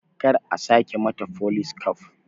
Kar a sake mata folis kaf